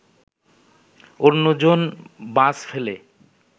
অন্যজন বাস ফেলে